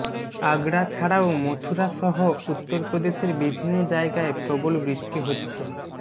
আগরা ছাড়াও মথুরা সহ উত্তরপ্রদেশের বিভিন্ন জায়গায় প্রবল বৃষ্টি হচ্ছে